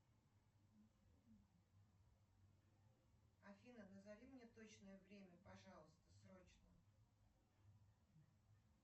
афина назови мне точное время пожалуйста срочно